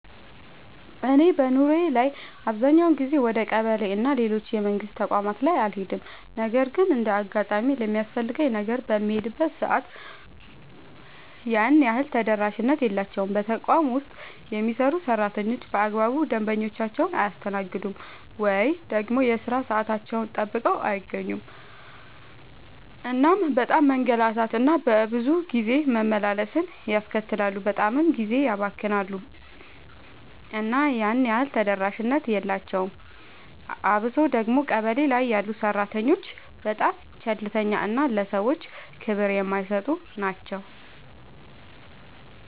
እኔ በኑሮዬ ላይ አብዛኛውን ጊዜ ወደ ቀበሌ እና ሌሎች የመንግስት ተቋማት ላይ አልሄድም ነገር ግን እንደ አጋጣሚ ለሚያስፈልገኝ ነገር በምሄድበት ሰዓት ያን ያህል ተደራሽነት የላቸውም። በተቋም ውስጥ የሚሰሩ ሰራተኞች በአግባቡ ደንበኞቻቸውን አያስተናግዱም። ወይ ደግሞ የሥራ ሰዓታቸውን ጠብቀው አይገኙም እናም በጣም መንገላታት እና ብዙ ጊዜ መመላለስን ያስከትላሉ በጣምም ጊዜ ያባክናሉ እና ያን ያህል ተደራሽነት የላቸውም። አብሶ ደግሞ ቀበሌ ላይ ያሉ ሰራተኞች በጣም ቸልተኛ እና ለሰዎች ክብር የማይሰጡ ናቸው።